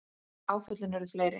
Áföllin urðu fleiri.